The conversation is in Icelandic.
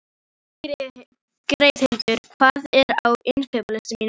Geirhildur, hvað er á innkaupalistanum mínum?